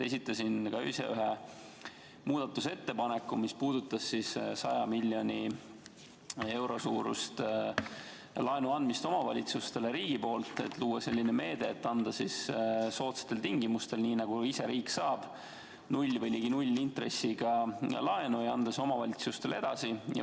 Esitasin ka ise ühe muudatusettepaneku, mis puudutas omavalitsustele 100 miljoni euro suuruse laenu andmist riigi poolt, et luua selline meede, et anda soodsatel tingimustel, nii nagu ise riik saab, 0% või ligi 0% intressiga laenu ja anda see omavalitsustele edasi.